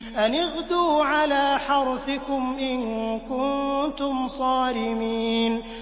أَنِ اغْدُوا عَلَىٰ حَرْثِكُمْ إِن كُنتُمْ صَارِمِينَ